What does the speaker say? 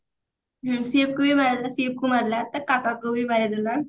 ହୁଁ ଶିଭ କୁ ଭି ମାରିଲା ଶିଭ କୁ ମାରିଲା ତା କାକାକୁ ବି ମାରିଦେଲା